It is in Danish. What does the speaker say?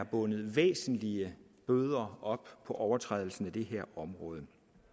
bundet væsentlige bøder op på overtrædelser inden for det her område